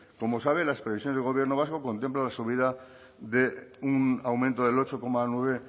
como sabe las previsiones de gobierno vasco contemplan la subida de un aumento del ocho coma nueve